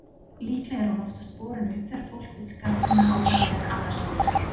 Líklega er hún oftast borin upp þegar fólk vill gagnrýna ákvarðanir annars fólks.